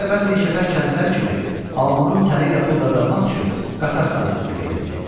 Nə də bəzi işgəpər kəndlər kimi alnının təri ilə pul qazanmaq üçün qatar stansiyasına gedirdi.